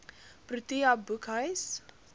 protea boekhuis